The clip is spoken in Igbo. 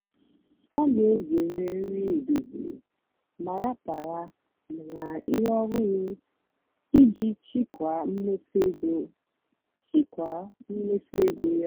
ọ́ nà-èzèré nrì édòzírí mà ràpárá nà íhé ọ́hụ́rụ́ ìjì chị́kwáà mméfú égó chị́kwáà mméfú égó yá.